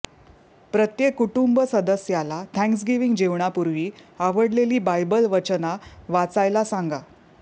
प्रत्येक कुटुंब सदस्याला थँक्सगिव्हिंग जेवणापूर्वी आवडलेली बायबल वचना वाचायला सांगा